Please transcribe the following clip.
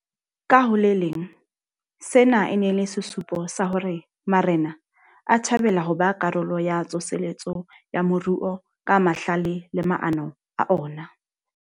Ka ho le leng, sena e ne e le sesupo sa hore marena a thabela ho ba karolo ya tsoseletso ya moruo ka mahlale le maano a ona.